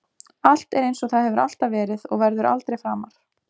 Allt er einsog það hefur alltaf verið og verður aldrei framar.